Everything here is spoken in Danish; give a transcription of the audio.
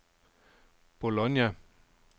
Bologna